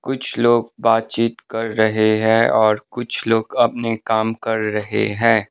कुछ लोग बातचीत कर रहे हैं और कुछ लोग अपने काम कर रहे हैं।